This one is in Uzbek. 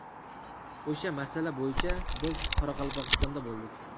O‘sha masala bo‘yicha biz Qoraqalpog‘istonda bo‘ldik.